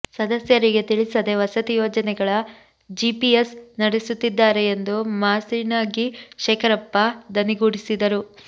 ಸದಸ್ಯರಿಗೆ ತಿಳಿಸದೇ ವಸತಿ ಯೋಜನೆಗಳ ಜಿಪಿಎಸ್ ನಡೆಸುತ್ತಿದ್ದಾರೆ ಎಂದು ಮಾಸಿಣಗಿ ಶೇಖರಪ್ಪ ದನಿಗೂಡಿಸಿದರು